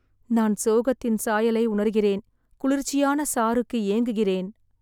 நான் சோகத்தின் சாயலை உணர்கிறேன், குளிர்ச்சியான சாறுக்கு ஏங்குகிறேன்.